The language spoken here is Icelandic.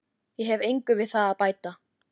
Ég hef engu við það að bæta.